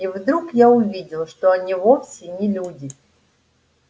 и вдруг я увидел что они вовсе не люди